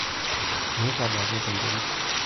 Mirag ake tenterit.